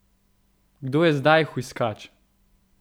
Kdo je zdaj hujskač?